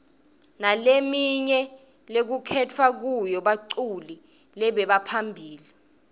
nalemnye lekukhetfwa kuyo baculi lebaphambili